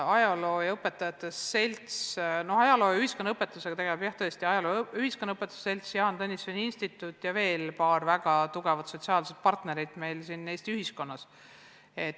Ajaloo ja ühiskonnaõpetusega tegeleb tõesti ajaloo- ja ühiskonnaõpetajate selts, Jaan Tõnissoni Instituut ja veel paar väga tugevat sotsiaalset partnerit meil siin Eesti ühiskonnas.